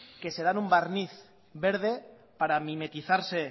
que se dan un barniz verde para mimetizarse